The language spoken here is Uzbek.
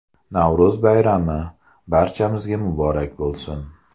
Navro‘z bayrami, barchamizga muborak bo‘lsin!